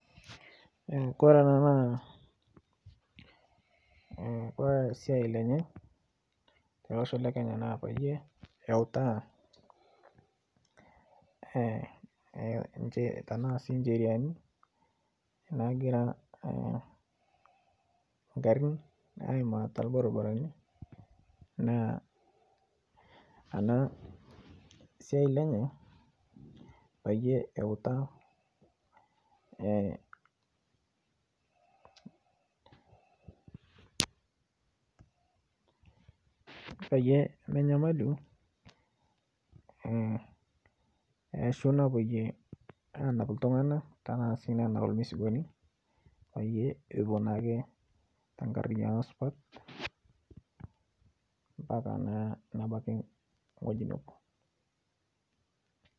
Kore ana naa Kore siai lenye tolosho lekenya naa payie eutaa tanasi nsheriani nagira nkarin aima telbarbarani naa ana siai lenye payie eutaa payie menyamalu eeshu napoyie nanap ltunganak tanasii nanap lmisigoni payie epuo naake tenkariayano supat mpaka naa nebaki ng'oji nepotuo.